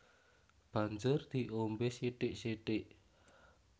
Banjur diombé sithik sithik